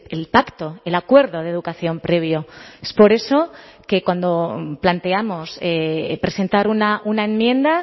el pacto el acuerdo de educación previo es por eso que cuando planteamos presentar una enmienda